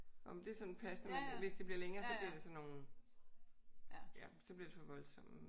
Jamen det er sådan passende. Hvis det bliver længere så bliver det sådan nogle ja så bliver det for voldsomt